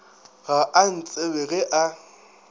ga a ntsebe ge a